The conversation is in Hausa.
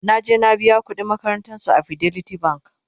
naje na biya ƙuɗin makarantan su a fidelity bank